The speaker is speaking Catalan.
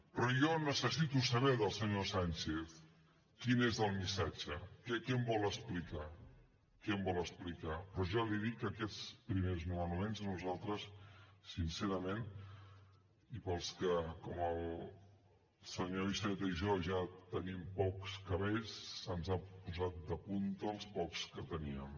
però jo necessito saber del senyor sánchez quin és el missatge què em vol explicar però ja li dic que aquests primers nomenaments a nosaltres sincerament i per als que com el senyor iceta i jo ja tenim pocs cabells se’ns han posat de punta els pocs que teníem